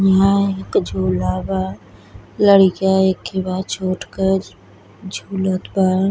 इहां एक झूला बा। लड़ीका एखे बा छोट क स् झूलत बा।